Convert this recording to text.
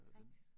Rex